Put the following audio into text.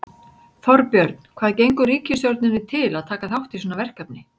Þorbjörn, hvað gengur ríkisstjórninni til að taka þátt í svona verkefni?